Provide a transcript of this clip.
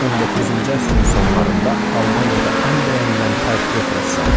19-cu əsrin sonlarında Almaniyada ən bəyənilən portret rəssamı.